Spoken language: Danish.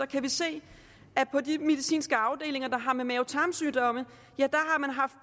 kan vi se at på de medicinske afdelinger der har med mave tarm sygdomme